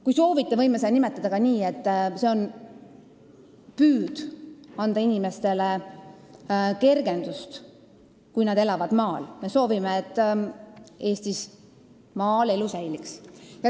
Kui soovite, võime seda nimetada ka nii, et see on püüd anda kergendust inimestele, kes elavad maal, sest me soovime, et Eestis elu maal säiliks.